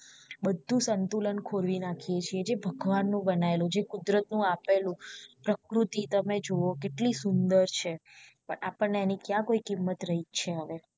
બધું સંતુલન ખોરવી નાખ્યું છે જે ભગવાન નું બનાવેલું કુદરત નું આપેલું પ્રકૃતિ તમે જોવો કેટલી સુંદર છે પણ આપણ ને એની ક્યાં કોઈ કિંમત રહી છે હવે